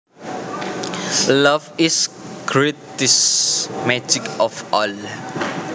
Love is the greatest magic of all